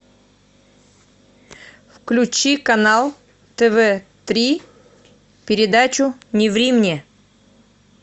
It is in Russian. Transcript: включи канал тв три передачу не ври мне